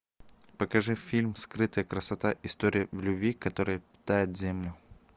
покажи фильм скрытая красота история любви которая питает землю